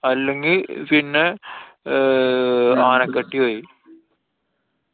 അല്ലെങ്കി പിന്നെ ആഹ് ആനക്കട്ടി വഴി.